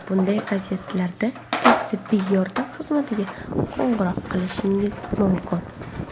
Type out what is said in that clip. Bunday vaziyatlarda tez tibbiy yordam xizmatiga qo‘ng‘iroq qilishingiz mumkin.